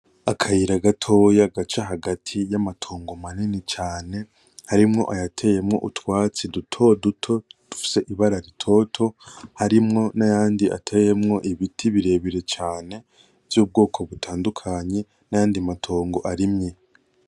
Akayira gatoya gaca hagati yamatongo manini cane harimwo ayateyemwo utwatsi dutoduto dufise ibara ritoto harimwo nayandi ateyemwo ibiti birebire cane vyubwoko butandukanye nayandi matongo arimye .